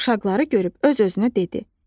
Div uşaqları görüb öz-özünə dedi: